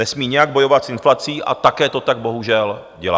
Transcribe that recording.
Nesmí nijak bojovat s inflací a také to tak bohužel dělá.